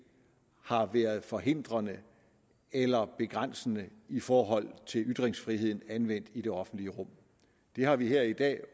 har været forhindrende eller begrænsende i forhold til ytringsfriheden anvendt i det offentlige rum det har vi her i dag